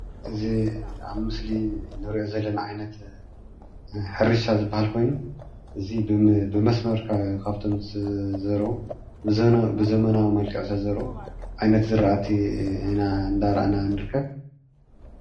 እዚ ኣብ ምስሊ እንሪኦ ዘለና ዓይነት ሕርሻ ዝብሃል ኮይኑ፣ እዚ ብመስመር ካብቶም ዝተዘርኡ ብዘመናዊ መልክዕ ዝተዘርኡ ዓይነት ዝራእቲ እና እናረኣና ንርከብ፡፡